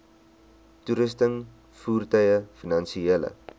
toerusting voertuie finansiële